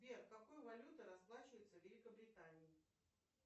сбер какой валютой расплачиваются в великобритании